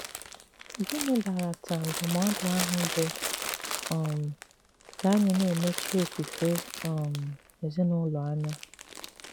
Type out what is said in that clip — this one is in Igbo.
Gịnị̀ bàràtà ndụm̀ọ̀dụ àhụ̀ bụ́ um kà ànyị̀ na-emechì òfùfè um èzìnùlò ànyà?